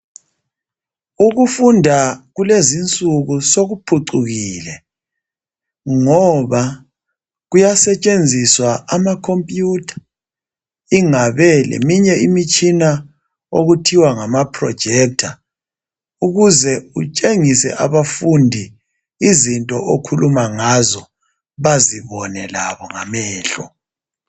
Ukufunda kulezinsuku sokuphucukile ngoba kuyasetshenziswa ama khompiyutha, ingabe leminye imitshina okuthiwa ngama projector ukuze kutshengise abafundi izinto okhuluma ngazo bazibone labo ngamehlo.